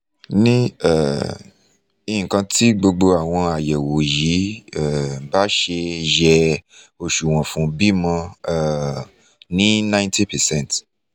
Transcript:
ní um nǹkan tí gbogbo àwọn ayẹ̀wò yìí um bá ṣe yẹ òṣuwọn fún bímọ um ní 90 percent